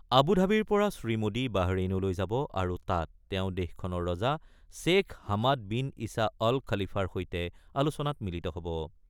আবু ধাবিৰ পৰা শ্ৰীমোদী বাহৰেইনলৈ যাব আৰু তাত তেওঁ দেশখনৰ ৰজা শ্বেখ হামাদ বিন ইছা অল খালিফাৰ সৈতে আলোচনাত মিলিত হ'ব।